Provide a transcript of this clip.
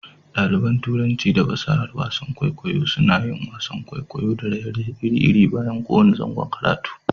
Ɗaliban Turanci da fasahar wasan kwaikwayo koyaushe suna yin wasan kwaikwayo da raye-raye iri-iri bayan kowane zangon karatu.